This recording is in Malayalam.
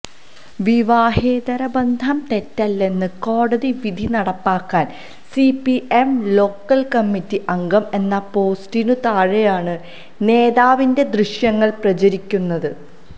വിവാഹേതരബന്ധം തെറ്റല്ലെന്ന കോടതി വിധി നടപ്പാക്കാന് സിപിഎം ലോക്കല് കമ്മിറ്റി അംഗം എന്ന പോസ്റ്റിനു താഴെയാണ് നേതാവിന്റെ ദൃശ്യങ്ങള് പ്രചരിക്കുന്നത്